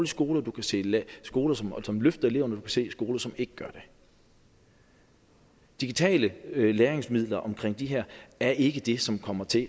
skoler og du kan se skoler som som løfter eleverne og se skoler som ikke gør det digitale læringsmidler omkring det her er ikke det som kommer til at